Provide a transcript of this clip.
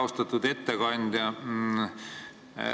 Austatud ettekandja!